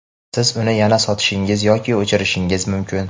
siz uni yana sotishingiz yoki o‘chirishingiz mumkin.